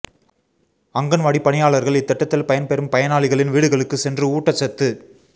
அங்கன்வாடி பணியாளா்கள் இத்திட்டத்தில் பயன்பெறும் பயனாளிகளின் வீடுகளுக்கு சென்று ஊட்டச் சத்து